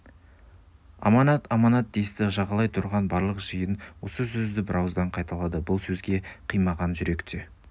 аманат аманат десті жағалай тұрған барлық жиын осы сөзді бірауыздан қайталады бұл сөзге қимаған жүрек те